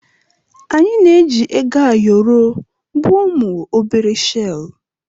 Anyị na-eji Ego ayoro bụ ụmụ obere shel.